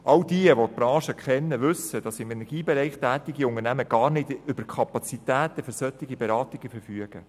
Alle, die die Branche kennen, wissen, dass im Energiebereich tätige Unternehmen gar nicht über die Kapazitäten für solche Beratungen verfügen.